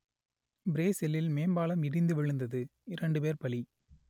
பிரேசிலில் மேம்பாலம் இடிந்து விழுந்தது இரண்டு பேர் பலி